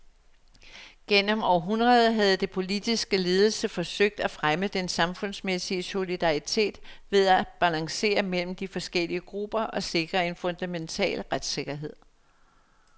Gennem århundreder havde den politiske ledelse forsøgt at fremme den samfundsmæssige solidaritet ved at balancere mellem de forskellige grupper og sikre en fundamental retssikkerhed.